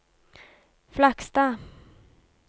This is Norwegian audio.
Flakstad